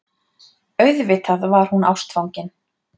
Auðvitað var hún ástfangin.